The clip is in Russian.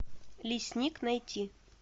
лесник найти